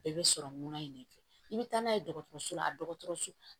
Bɛɛ bɛ sɔrɔ munna in de fɛ i bɛ taa n'a ye dɔgɔtɔrɔso la dɔgɔtɔrɔso